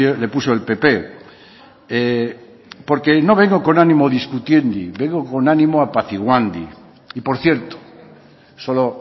le puso el pp porque no vengo con ánimo discutiendi vengo con ánimo apaciguandi y por cierto solo